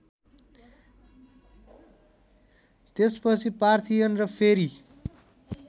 त्यसपछि पार्थियन र फेरि